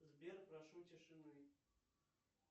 сбер прошу тишины